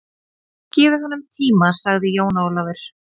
Gefið honum tíma, sagði Jón Ólafur.